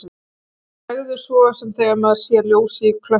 Manni bregður svo sem þegar maður sér ljós í klöppunum.